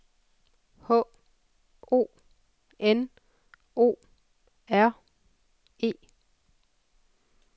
H O N O R E